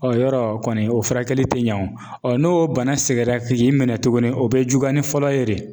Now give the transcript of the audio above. Ɔn yɔrɔ kɔni o furakɛli te ɲɛ wo, Ɔn n'o bana segin na k'i minɛ tuguni o be juguya ni fɔlɔ ye de.